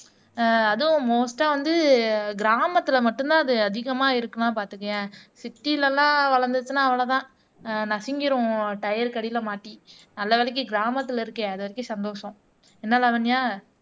ஆஹ் அதுவும் மோஸ்ட்டா வந்து கிராமத்துல மட்டும்தான் அது அதிகமா இருக்குன்னா பாத்துக்கயேன் சிட்டில எல்லாம் வளர்ந்துச்சுன்னா அவ்வளவுதான் ஆஹ் நசுங்கிரும் ட்யரருக்கு அடியில மாட்டி நல்ல வேளைக்கு கிராமத்துல இருக்கேன் அது வரைக்கும் சந்தோஷம் என்ன லாவண்யா